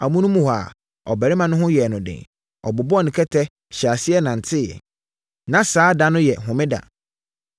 Amonom hɔ ara, ɔbarima no ho yɛɛ no den; ɔbobɔɔ ne kɛtɛ, hyɛɛ aseɛ nanteeɛ. Na saa da no yɛ homeda.